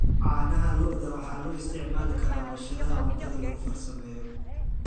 Caanaha lo'da waxa loo isticmaali karaa warshadaha cuntada lagu farsameeyo.